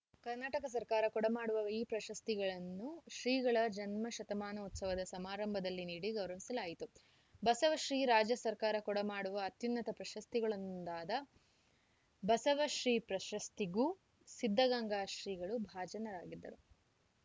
ಕರ್ನಾಟಕ ಸರ್ಕಾರ ಕೊಡಮಾಡುವ ಈ ಪ್ರಶಸ್ತಿಗಳನ್ನು ಶ್ರೀಗಳ ಜನ್ಮಶತಮಾನೋತ್ಸವ ಸಮಾರಂಭದಲ್ಲಿ ನೀಡಿ ಗೌರವಿಸಲಾಯಿತು ಬಸವ ಶ್ರೀ ರಾಜ್ಯ ಸರ್ಕಾರ ಕೊಡಮಾಡುವ ಅತ್ಯುನ್ನತ ಪ್ರಶಸ್ತಿಗಳಲ್ಲೊಂದಾದ ಬಸವ ಶ್ರೀ ಪ್ರಶಸ್ತಿಗೂ ಸಿದ್ಧಗಂಗಾ ಶ್ರೀಗಳು ಭಾಜನರಾಗಿದ್ದಾರು